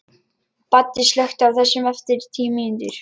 Baddi, slökktu á þessu eftir tíu mínútur.